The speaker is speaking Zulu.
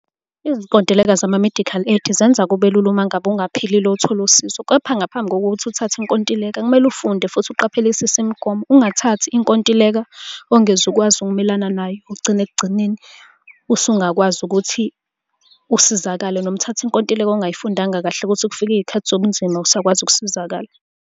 Izinkontileka zama-medical aid zenza kube lula uma ngabe ungaphilile uthole usizo, kepha ngaphambi kokuthi uthathe inkontileka kumele ufunde futhi uqaphelisise imigomo. Ungathathi inkontileka ongezukwazi ukumelana nayo, ugcine ekugcineni usungakwazi ukuthi usizakale, noma uthathe inkontileka ongayifundanga kahle ukuthi kufika iy'khathi zobunzima awusakwazi ukusizakala.